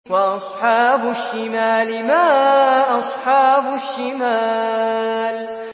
وَأَصْحَابُ الشِّمَالِ مَا أَصْحَابُ الشِّمَالِ